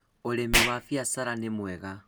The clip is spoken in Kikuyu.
ũrĩmi wa biacara nĩ mwega